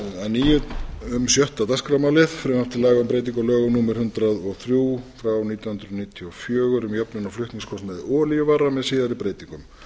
nýju um sjötta dagskrármálið frumvarp til laga um breytingu á lögum númer hundrað og þrjú nítján hundruð níutíu og fjögur um jöfnun á flutningskostnaði olíuvara með síðari breytingum